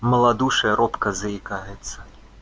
малодушие робко заикается